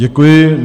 Děkuji.